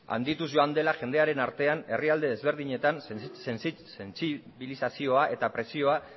handituz joan dela jendearen artean herrialde desberdinetan sentsibilizazioa eta presioa